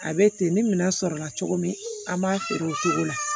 A bɛ ten ni minɛn sɔrɔ la cogo min an b'a feere o cogo la